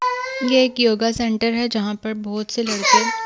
ये एक yoga centre है यहां पर बहुत से लड़के --